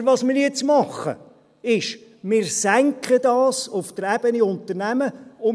Aber was wir jetzt tun, ist, dies auf der Ebene Unternehmen zu senken.